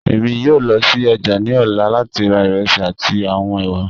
Emi yoo lọ si ọja ni ọla lati ra iresi ati awọn ewa.